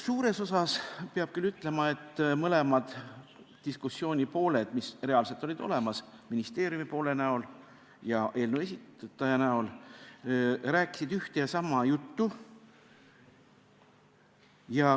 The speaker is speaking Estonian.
Suures osas, peab küll ütlema, mõlemad diskussiooni pooled, mis reaalselt olid olemas – ministeeriumi poole esindajad ja eelnõu esitaja esindaja –, rääkisid ühte ja sama juttu.